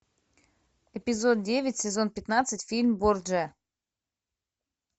эпизод девять сезон пятнадцать фильм борджиа